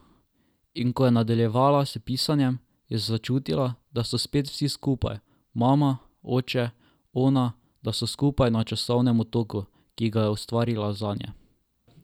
In ko je nadaljevala s pisanjem, je začutila, da so spet vsi skupaj, mama, oče, ona, da so skupaj na časovnem otoku, ki ga je ustvarila zanje.